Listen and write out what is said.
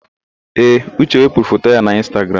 Ee, Uche wepụrụ foto ya n'Ịnstagram.